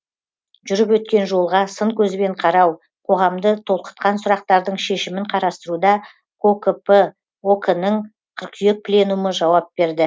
жүріп өткен жолға сын көзбен қарау қоғамды толқытқан сүрақтардың шешімін қарастыруда кокп ок нің қыркүйек пленумы жауап берді